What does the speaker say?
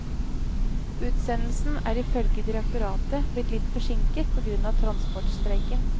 Utsendelsen er ifølge direktoratet blitt litt forsinket på grunn av transportstreiken.